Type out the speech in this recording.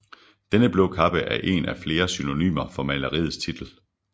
Denne blå kappe er en af flere synonymer for maleriets titel